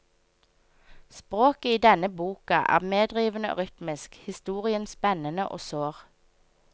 Språket i denne boka er medrivende og rytmisk, historien spennende og sår.